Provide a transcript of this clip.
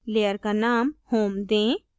layer का name home दें